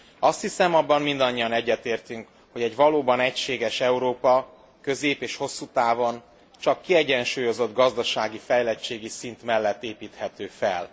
Azt hiszem, abban mindannyian egyetértünk, hogy egy valóban egységes Európa közép és hosszú távon csak kiegyensúlyozott gazdasági fejlettségi szint mellett építhető fel.